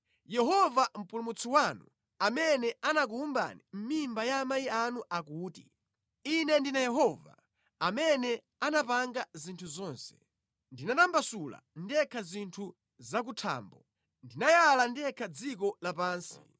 Yehova Mpulumutsi wanu, amene anakuwumbani mʼmimba ya amayi anu akuti: “Ine ndine Yehova, amene anapanga zinthu zonse, ndinatambasula ndekha zinthu zakuthambo, ndinayala ndekha dziko lapansi.